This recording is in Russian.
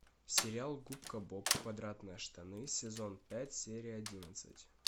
сериал губка боб квадратные штаны сезон пять серия одиннадцать